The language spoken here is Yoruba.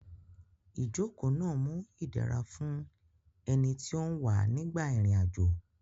Ìjókòó náà mú idẹra fún ẹni tí ó ń wà nígbà ìrìn àjò